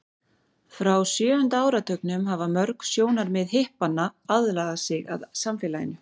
frá sjöunda áratugnum hafa mörg sjónarmið hippanna aðlagað sig að samfélaginu